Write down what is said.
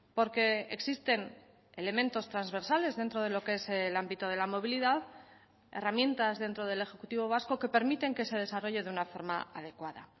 porque existen elementos transversales dentro de lo que es el ámbito de la movilidad herramientas dentro del ejecutivo vasco que permiten que se desarrolle de una forma adecuada